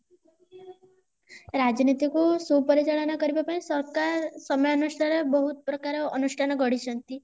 ରାଜନୀତି କୁ ସୁପରିଚାଳନ କରିବାପାଇଁ ସରକାର ସମୟ ଅନୁସାରେ ବୋହୁତ ପ୍ରକାର ଅନୁଷ୍ଠାନ ଗଢିଛନ୍ତି